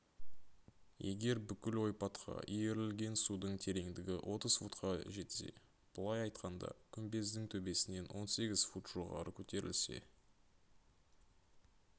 егер бүкіл ойпатқа иірілген судың тереңдігі отыз футқа жетсе былай айтқанда күмбездің төбесінен он сегіз фут жоғары көтерілсе